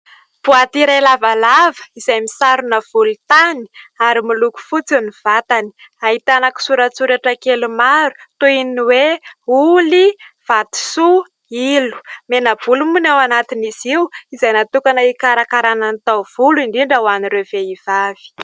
Boaty iray lavalava izay misarona volontany ary miloko fotsy ny vatany ; ahitana kisoratsoratra kely maro toy ny hoe ''oly, vatisoa, ilo'' mena-bolo moa ny ao anatiny izy io izay natokana hikarakarana ny taovolo indrindra ho an'ireo vehivavy.